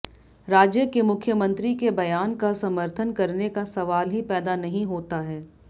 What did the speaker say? राज्य के मुख्यमंत्री के बयान का समर्थन करने का सवाल ही पैदा नहीं होता है